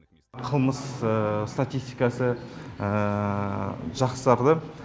қылмыс статистикасы жақсарды